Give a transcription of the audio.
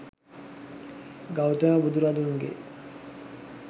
Gautama බුදුරජුන්ගේ